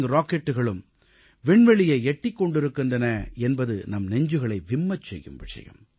rocketகளும் விண்வெளியை எட்டிக் கொண்டிருக்கின்றன என்பது நம் இதயம் குமுறச் செய்யும் விஷயம்